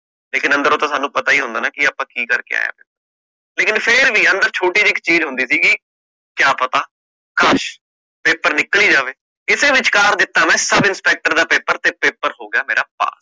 ਲੇਕਿਨ ਅੰਦਰੋਂ ਤਾ ਸਾਨੂ ਪਤਾ ਹੀ ਹੁੰਦਾ ਨਾ ਕਿ ਆਪ ਕਿ ਕਰਕੇ ਆਏ ਆ, ਲੇਕਿਨ ਫੇਰ ਵੀ ਅੰਦਰ ਛੋਟੀ ਜੀ ਇਕ ਚੀਜ ਹੁੰਦੀ ਸੀਗੀ, ਕਯਾ ਪਤਾ, ਕਾਸ਼, paper ਨਿਕਲ ਹੀ ਜਾਵੇ, ਇਸੇ ਵਿਚਕਾਰ ਦਿੱਤੋ ਮੈਂ ਸਬ inspector ਦਾ paper ਤੇ ਪੇਪਰ ਹੋ ਗਯਾ ਮੇਰਾ ਪਾਸ